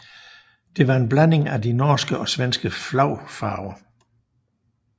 Det var en blanding af de norske og svenske flagfarver